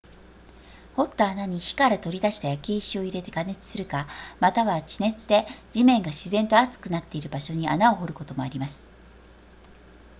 掘った穴に火から取り出した焼け石を入れて加熱するかまたは地熱で地面が自然と熱くなっている場所に穴を掘ることもあります